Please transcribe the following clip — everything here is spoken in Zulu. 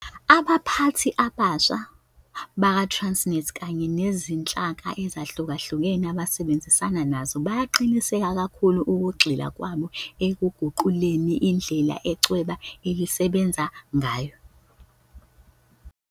Abaphathi abasha bakwa-Transnet kanye nezinhlaka ezahlukahlukene abasebenzisana nazo bayaqinisa kakhulu ukugxila kwabo ekuguquleni indlela ichweba elisebenza ngayo.